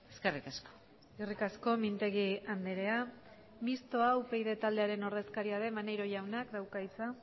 eskerrik asko eskerrik asko mintegi andrea mistoa upyd taldearen ordezkaria den maneiro jaunak dauka hitza